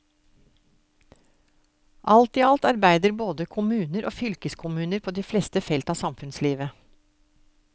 Alt i alt arbeider både kommuner og fylkeskommuner på de fleste felt av samfunnslivet.